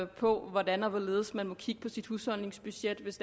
på hvordan og hvorledes man må kigge på sit husholdningsbudget hvis